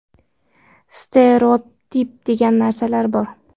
Stereotip degan narsalar bor.